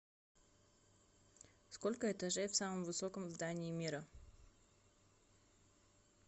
сколько этажей в самом высоком здании мира